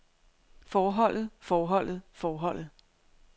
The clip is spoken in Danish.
forholdet forholdet forholdet